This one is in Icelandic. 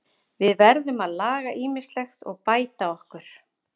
Við verðum að laga ýmislegt og bæta okkur.